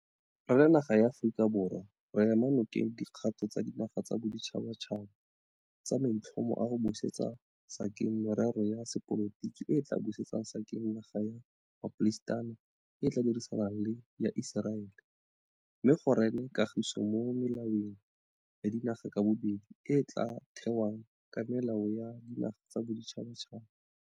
Re le naga ya Aforika Borwa re ema nokeng dikgato tsa dinaga tsa boditšhabatšhaba tsa maitlhomo a go busetsa sekeng merero ya sepolotiki e e tla busetsang sekeng naga ya maPalestina e e tla dirisanang le ya Iseraele, mme go rene kagiso mo melelwaneng ya dinaga ka bobedi e e tla thewang ka melao ya dinaga tsa boditšhabatšhaba.